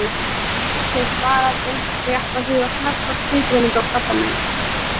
Áður en þessu er svarað beint er rétt að huga snöggvast að skilgreiningu á krabbameini.